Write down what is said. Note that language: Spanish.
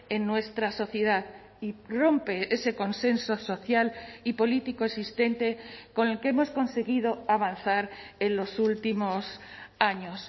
en nuestra sociedad y rompe ese consenso social y político existente con el que hemos conseguido avanzar en los últimos años